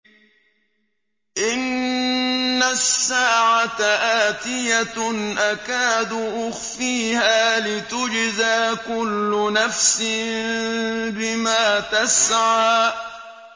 إِنَّ السَّاعَةَ آتِيَةٌ أَكَادُ أُخْفِيهَا لِتُجْزَىٰ كُلُّ نَفْسٍ بِمَا تَسْعَىٰ